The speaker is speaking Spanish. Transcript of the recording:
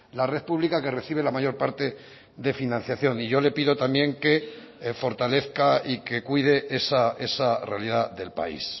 la red pública que recibe la mayor parte de financiación y yo le pido también que fortalezca y que cuide esa realidad del país